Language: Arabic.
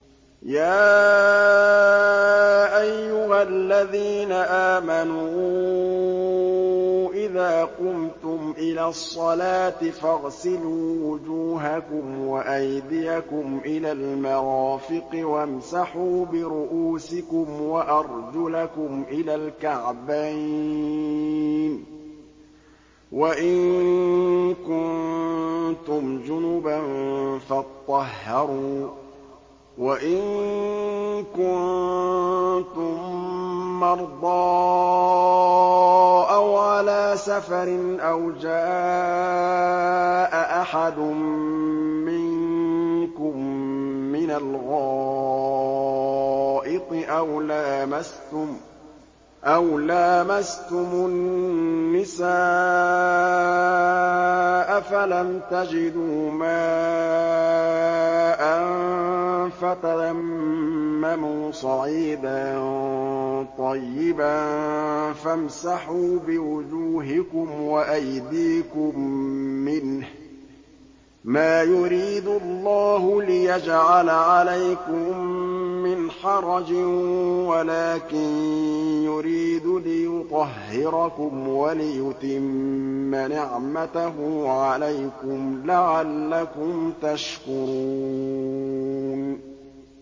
يَا أَيُّهَا الَّذِينَ آمَنُوا إِذَا قُمْتُمْ إِلَى الصَّلَاةِ فَاغْسِلُوا وُجُوهَكُمْ وَأَيْدِيَكُمْ إِلَى الْمَرَافِقِ وَامْسَحُوا بِرُءُوسِكُمْ وَأَرْجُلَكُمْ إِلَى الْكَعْبَيْنِ ۚ وَإِن كُنتُمْ جُنُبًا فَاطَّهَّرُوا ۚ وَإِن كُنتُم مَّرْضَىٰ أَوْ عَلَىٰ سَفَرٍ أَوْ جَاءَ أَحَدٌ مِّنكُم مِّنَ الْغَائِطِ أَوْ لَامَسْتُمُ النِّسَاءَ فَلَمْ تَجِدُوا مَاءً فَتَيَمَّمُوا صَعِيدًا طَيِّبًا فَامْسَحُوا بِوُجُوهِكُمْ وَأَيْدِيكُم مِّنْهُ ۚ مَا يُرِيدُ اللَّهُ لِيَجْعَلَ عَلَيْكُم مِّنْ حَرَجٍ وَلَٰكِن يُرِيدُ لِيُطَهِّرَكُمْ وَلِيُتِمَّ نِعْمَتَهُ عَلَيْكُمْ لَعَلَّكُمْ تَشْكُرُونَ